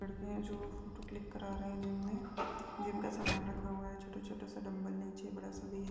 लड़के हैं जो फोटो क्लिक करा हैं जिनमे जिम का सामान रखा हुआ हैं छोटा छोटा सा डंबल नीचे बड़ा सा भी हैं।